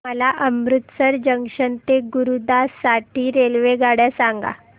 मला अमृतसर जंक्शन ते गुरुदासपुर साठी रेल्वेगाड्या सांगा